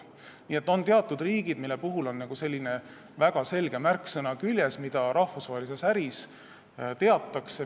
Nii et on teatud riigid, millel on küljes väga selge märksõna, mida rahvusvahelises äris teatakse.